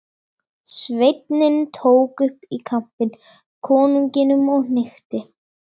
Sveinninn tók upp í kampinn konunginum og hnykkti.